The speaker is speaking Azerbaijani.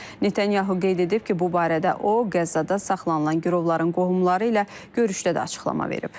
Netanyahu qeyd edib ki, bu barədə o Qəzzada saxlanılan girovların qohumları ilə görüşdə də açıqlama verib.